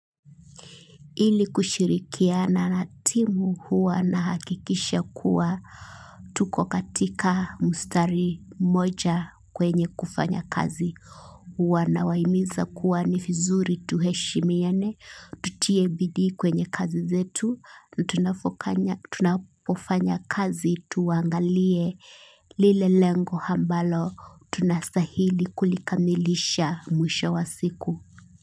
Ili kushirikiana na timu huwa nahakikisha kuwa. Tuko katika mstari moja kwenye kufanya kazi. Huwa nawahimiza kuwa ni vizuri tuheshimiane. Tutie bidii kwenye kazi zetu. Tunapofanya kazi tuangalie lile lengo ambalo. Tunastahili kulikamilisha mwisho wa siku.